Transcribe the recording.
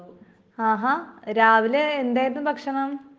ആഹാ.രാവിലെ എന്തായിരുന്നു ഭക്ഷണം ?